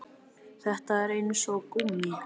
Þetta er eins og gúmmí